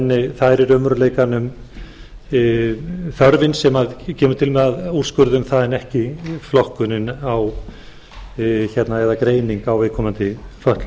en það er í raunveruleikanum þörfin sem kemur til með að úrskurða um það en ekki flokkunin eða greiningin á viðkomandi fötlun